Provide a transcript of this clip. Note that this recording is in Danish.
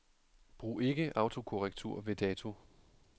Brug ikke autokorrektur ved dato.